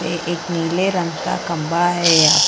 ये एक नीले रंग का खंभा है।